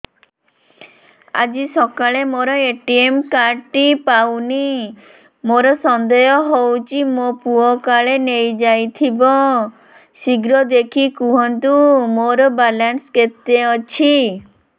ଆଜି ସକାଳେ ମୋର ଏ.ଟି.ଏମ୍ କାର୍ଡ ଟି ପାଉନି ମୋର ସନ୍ଦେହ ହଉଚି ମୋ ପୁଅ କାଳେ ନେଇଯାଇଥିବ ଶୀଘ୍ର ଦେଖି କୁହନ୍ତୁ ମୋର ବାଲାନ୍ସ କେତେ ଅଛି